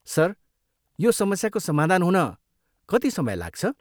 Sir, यो समस्याको समाधान हुन कति समय लाग्छ?